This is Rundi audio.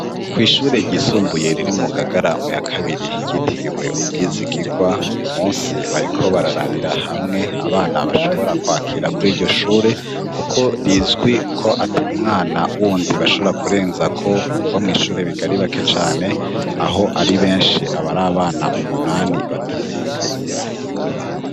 Kwishure yisumbuye riri mu ngagara mu ya kabiri ryitiriwe ubwizigigwa uyu munsi bariko bararabira hamwe abana bashobora kwakira kuri iryo shure kuko rizwi ko atamwana wundi bashobora kurenzako kuko mw'ishure biga aribake cane aho ari benshi abari abana umunani batarenga ngo barenguke.